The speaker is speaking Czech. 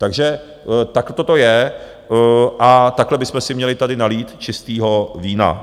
Takže takto to je a takhle bychom si měli tady nalít čistého vína.